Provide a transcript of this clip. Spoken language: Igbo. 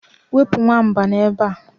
wepụ nwamba a n'ebe a